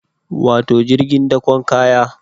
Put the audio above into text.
Wato jirgin dakon kaya